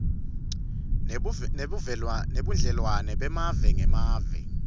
nebudlelwane bemave ngemave